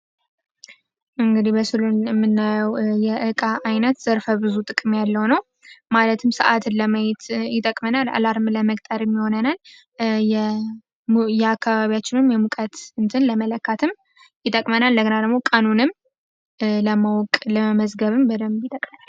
እንግዲህ በምስሉ የምናየው የእቃ አይነት ዘርፈ ብዙ ጥቅም ያለው ነው። ማለትም ሰአትን ለማየት ይጠቅመናል አላርም ለመቅጠርም ይሆነናል የአካባቢያችንን ሙቀት ለመለካትም ይጠቅመናል እንደገና ደግሞ ቀኑንም ለማወቅ ለመመዝገብም በደንብ ይጠቅመናል።